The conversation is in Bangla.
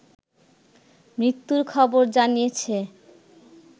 মৃত্যুর খবর জানিয়েছে